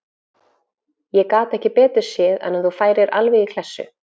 Ég gat ekki betur séð en að þú færir alveg í klessu.